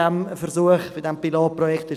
Was bei diesem Pilotprojekt ebenso überzeugt: